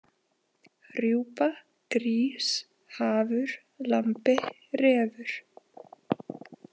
Rjúpa, Grís, Hafur, Lambi, Refur.